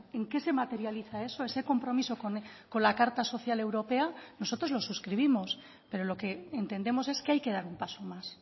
en qué se materializa eso ese compromiso con la carta social europea nosotros lo suscribimos pero lo que entendemos es que hay que dar un paso más